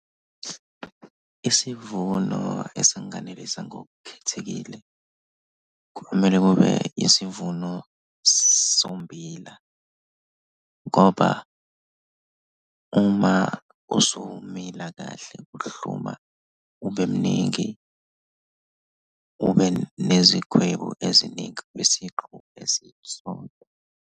Isivuno esanganelisa ngokukhethekile kumele kube isivuno sommbila ngoba uma usumila kahle uhluma ube mningi. Ube nezikhwebu eziningi kwisiqu esisodwa.